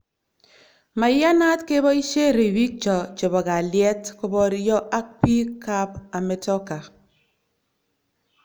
"Maiyanat keboisie ribikcho chebo kaliet koborio ak biik ab Ametoka".